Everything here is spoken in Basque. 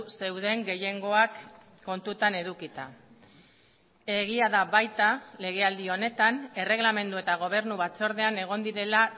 zeuden gehiengoak kontutan edukita egia da baita legealdi honetan erreglamendu eta gobernu batzordean egon direla